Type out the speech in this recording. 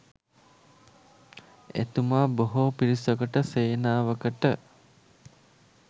එතුමා බොහෝ පිරිසකට සේනාවකට